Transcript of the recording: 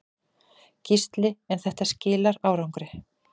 Gísli: En þetta skilar árangri?